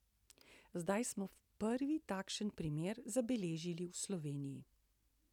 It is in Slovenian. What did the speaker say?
Zdaj smo prvi takšen primer zabeležili v Sloveniji.